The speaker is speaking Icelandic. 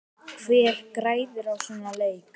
Hver græðir á svona leik?